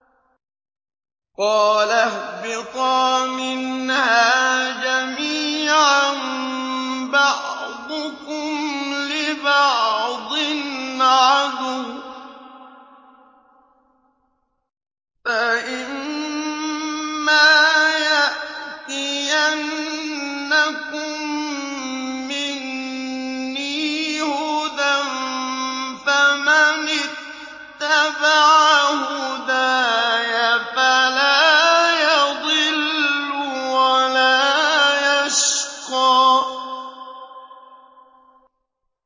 قَالَ اهْبِطَا مِنْهَا جَمِيعًا ۖ بَعْضُكُمْ لِبَعْضٍ عَدُوٌّ ۖ فَإِمَّا يَأْتِيَنَّكُم مِّنِّي هُدًى فَمَنِ اتَّبَعَ هُدَايَ فَلَا يَضِلُّ وَلَا يَشْقَىٰ